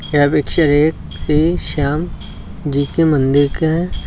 यह पिक्चर एक श्री श्याम जी के मंदिर का है।